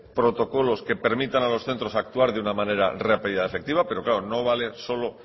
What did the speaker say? protocolos que permiten a los centros a actuar de una manera rápido y efectiva pero claro no vale solo